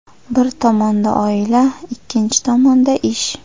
Bir tomonda oila, ikkinchi tomonda ish.